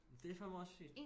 Men det fandme også sygt